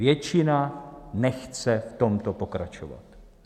Většina nechce v tomto pokračovat.